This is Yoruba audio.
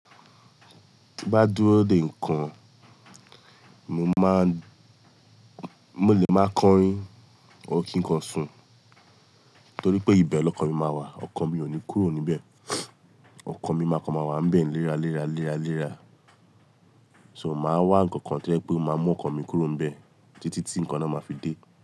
Tí bá dúró dè nǹkan, mo máa, mo lè máa kọrin or kín kan sùn torí pé ìbẹ̀ lọkan mi máa wà, ọkàn mi ò ní kúrò níbẹ̀. Ọkàn mi máa kan máa wà nbẹ̀ ni léra léra léra léra. So màá wá ǹkan kan tojẹ pé o máa mú ọkàn mi kúrò nbẹ̀ títí tí nǹkan náà máa fi dé.